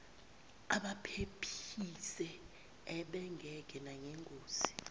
abaphephise ubengeke nangengozi